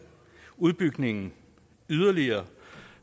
udbygningen yderligere